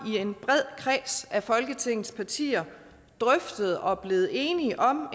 i en bred kreds af folketingets partier drøftet og er blevet enige om